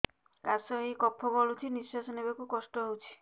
କାଶ ହେଇ କଫ ଗଳୁଛି ନିଶ୍ୱାସ ନେବାକୁ କଷ୍ଟ ହଉଛି